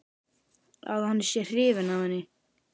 Að hann sé hrifinn af henni.